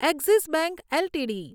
axis bank LTD